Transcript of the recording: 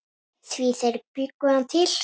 Því þeir bjuggu hann til.